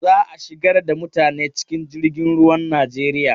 Za a shigar da mutane cikin jirgin ruwan Najeriya.